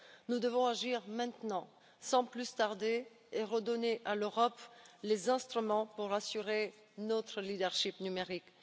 Nous devons agir maintenant, sans plus tarder, et redonner à l'Europe les instruments pour assurer notre leadership numérique.